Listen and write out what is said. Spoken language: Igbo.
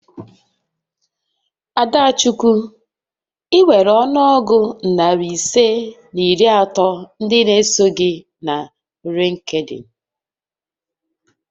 Adachukwu, I nwèrè ọnụ ọgụ narị ise na iri atọ ndị n'eso gị na Lịnkdịn